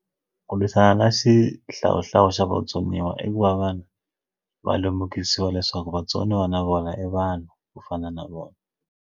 Ku lwisana na xihlawuhlawu xa vatsoniwa i ku va vanhu va lemukisiwa leswaku vatsoniwa na vona i vanhu ku fana na vona.